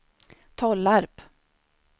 Tollarp